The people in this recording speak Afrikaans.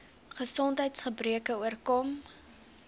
gesondheids gebreke oorkom